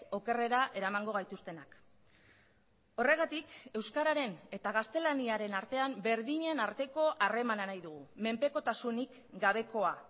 okerrera eramango gaituztenak horregatik euskararen eta gaztelaniaren artean berdinen arteko harremana nahi dugu menpekotasunik gabekoa